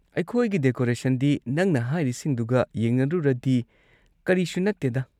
ꯑꯩꯈꯣꯏꯒꯤ ꯗꯦꯀꯣꯔꯦꯁꯟꯗꯤ ꯅꯪꯅ ꯍꯥꯏꯔꯤꯁꯤꯡꯗꯨꯒ ꯌꯦꯡꯅꯔꯨꯔꯗꯤ ꯀꯔꯤꯁꯨ ꯅꯠꯇꯦꯗꯥ꯫